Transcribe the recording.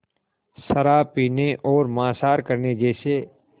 शराब पीने और मांसाहार करने जैसे